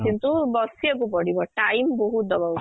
କିନ୍ତୁ ବସିବାକୁ ପଡିବ time ବହୁତ ଦବାକୁ